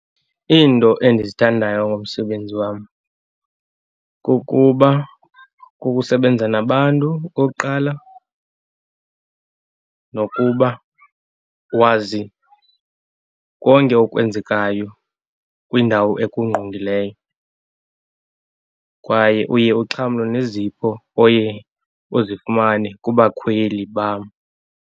Iinto endizithandayo ngomsebenzi wam kukuba kukusebenza nabantu, okokuqala, nokuba wazi konke okwenzekayo kwindawo ekungqongileyo. Kwaye uye uxhamle nezipho oye uzifumane kubakhweli bam.